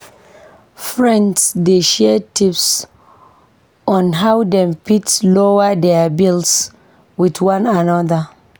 Friends dey share tips on how dem fit lower dier bills with one another.